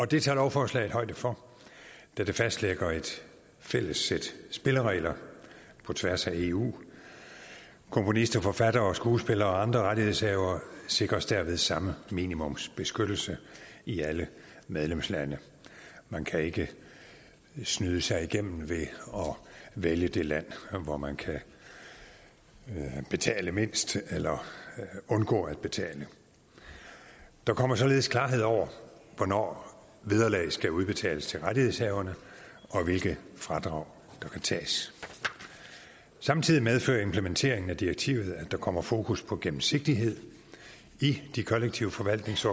det tager lovforslaget højde for da det fastlægger et fælles sæt spilleregler på tværs af eu komponister forfattere skuespillere og andre rettighedshavere sikres derved samme minimumsbeskyttelse i alle medlemslande man kan ikke snyde sig igennem ved at vælge det land hvor man kan betale mindst eller undgå at betale der kommer således klarhed over hvornår vederlag skal udbetales til rettighedshaverne og hvilke fradrag der kan tages samtidig medfører implementeringen af direktivet at der kommer fokus på gennemsigtighed i kollektiv forvaltnings